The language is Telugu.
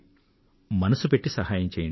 మనసు పెట్టి సహాయం చెయ్యండి